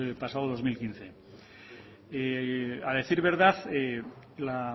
pasado dos mil quince a decir verdad la